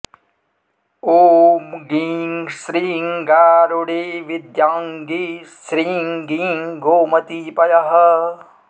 ॐ गीं श्रीं गारुडीविद्याङ्गी श्रीं गीं गोमती पयः